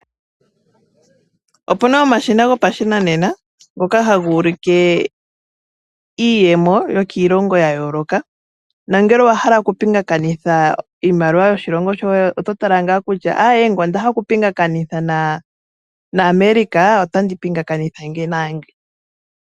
Opu na omashina gopashinanena ngoka haga ulike iiyemo yokiilongo ya yooloka, na ngele owa hala okupingakanitha iimaliwa yoshilongo shoye, oto tala ngaa kutya aawe ngele onda hala okupingakanitha naAmerica otandi pingakanitha ngino naa ngino.